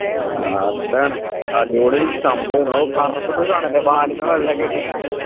ആഹ് അതാണ് അടിപൊളി സംഭവം ഓ കറത്തിട്ടു കാണില്ലേ വാലുമ്മേൽ വെള്ളയൊക്കെ ആയിട്ട്